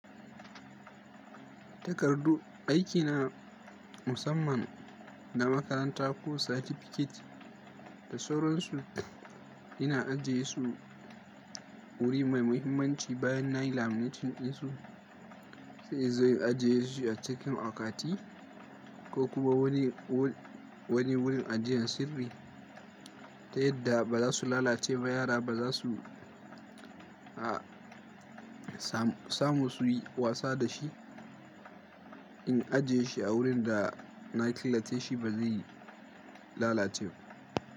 Takardu aiki na musamman na makaranta ko satifiket da sauransu ina ajiye su wuri mai muhimmanci bayan na laminating ɗinsu sai in zo in ajiye shi a cikin akwati ko kuma wani wurin ajiyan sirri ta yadda ba za su lalace ba yara ba za su samu suyi wasa da shi in ajiye shi a wurin da na killaceshi ba zai yi lalace ba.